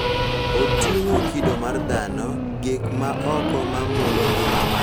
Oting�o kido mar dhano, gik ma oko ma mulo ngima mar oganda, kod chal mar kit oganda.